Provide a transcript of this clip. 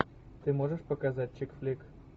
ты можешь показать чик флик